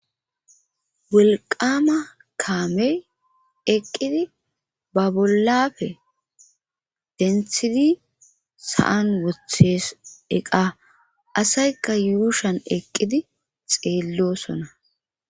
Wolqama kaamey eqqidi ba bollafe denththidi sa'an woththees eqa asaykka yuushshan eqqidi xeellosona